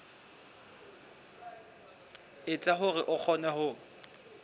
etsa hore o kgone ho